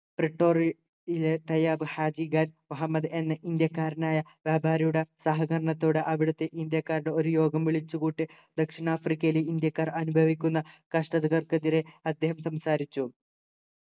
റിറ്റോറി ലെ ഖയാബ് ഹാജിഖാൻ മുഹമ്മദ് എന്ന ഇന്ത്യക്കാരനായ ബാബ രൂഢ സഹകരണത്തോടെ അവിടെത്തെ ഇന്ത്യക്കാരുടെ ഒരു യോഗം വിളിച്ചു കൂട്ടി ദക്ഷിണാഫ്രിക്കയിൽ ഇന്ത്യക്കാർ അനുഭവിക്കുന്ന കഷ്ടതകൾക്കെതിരെ അദ്ദേഹം സംസാരിച്ചു